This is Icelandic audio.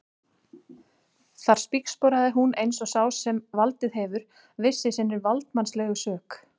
Þar spígsporaði hún um eins og sá sem valdið hefur, viss í sinni valdsmannslegu sök.